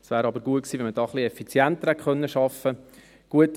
Es wäre aber gut gewesen, wenn man etwas effizienter hätte arbeiten können.